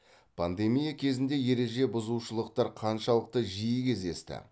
пандемия кезінде ереже бұзушылықтар қаншалықт жиі кездесті